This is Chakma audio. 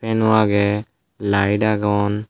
fan ow agey light agon.